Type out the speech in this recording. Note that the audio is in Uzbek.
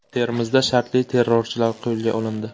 Termizda shartli terrorchilar qo‘lga olindi .